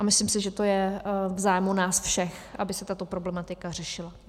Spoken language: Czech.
A myslím si, že to je v zájmu nás všech, aby se tato problematika řešila.